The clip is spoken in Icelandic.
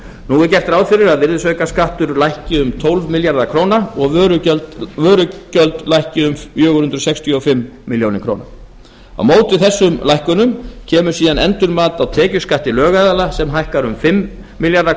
nú er gert ráð fyrir að virðisaukaskattur lækki um tólf milljarða króna og vörugjöld lækki um fjögur hundruð sextíu og fimm milljónir króna á móti þessum lækkunum kemur síðan endurmat á tekjuskatti lögaðila sem hækkar um fimm milljarða